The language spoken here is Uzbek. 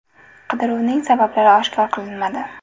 Qidiruvning sabablari oshkor qilinmadi.